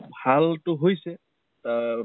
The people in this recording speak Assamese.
ভাল টো হৈছে আহ